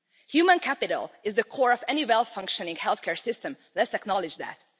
Human capital is the core of any well functioning healthcare system let's acknowledge that.